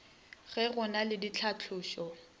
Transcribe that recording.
ge go na le ditlhatlošo